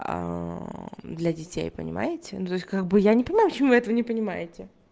для детей понимаете ну то есть как бы я не понимаю почему этого не понимаете